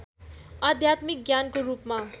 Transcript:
आध्यात्मिक ज्ञानको रूपमा